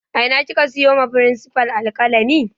A ina kika siyo wa firinsifal alƙalami